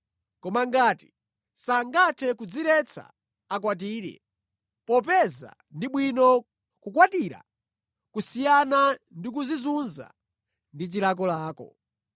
Koma ngati sangathe kudziretsa, akwatire, popeza ndi bwino kukwatira kusiyana ndi kudzizunza ndi chilakolako.